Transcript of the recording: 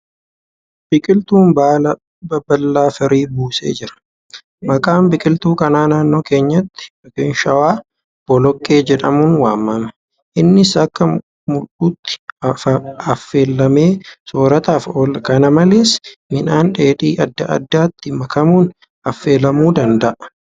Biqiltuun baala baballaa firii buusee jira. Maqaan biqiltuu kanaa naannoo keenyatti (shawaa) boloqqee jedhamuun waamama. Innis akka mul'uutti affeelamee soorataaf oola. Kana malees, midhaan dheedbii adda addaatti makamuun affeelamuu danda'a.